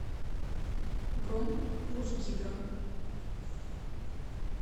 бронь русгидро